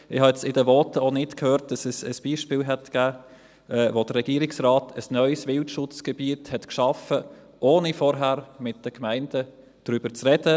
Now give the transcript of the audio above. Ich habe in den Voten auch nicht gehört, dass es ein Beispiel gegeben hätte, wo der Regierungsrat ein neues Wildschutzgebiet geschaffen hat, ohne vorher mit den Gemeinden darüber zu sprechen.